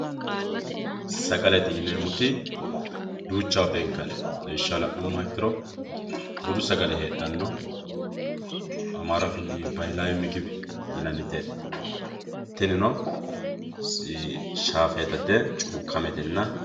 sagalete yineemmoti duuchawa beenkanni lawishshaho la'nummoha ikkiro budu sagale heedhanno ammaru afiinni (ባህላዊ ምግብ) yinanniti heedhanno tinino shaafeetate cuukkametenna.